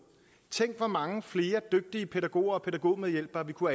tænk hvor mange flere dygtige pædagoger og pædagogmedhjælpere vi kunne